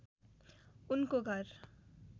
ऊनको घर